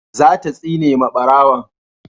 za ta tsine ma barawon